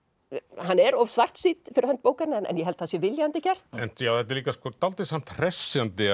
hann er of svartsýnn fyrir hönd bókarinnar en ég held það sé viljandi gert en þetta er líka dálítið samt hressandi